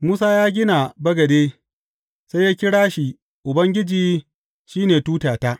Musa ya gina bagade, sai ya kira shi Ubangiji shi ne Tutata.